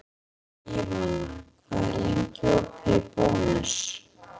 Ívana, hvað er lengi opið í Bónus?